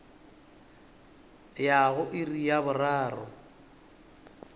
ya go iri ya boraro